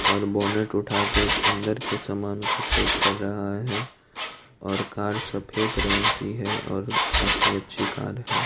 और बोनट उठा के अंदर के समान को चेक कर रहा है और कार सफेद रंग की है और काफी अच्छी कार है।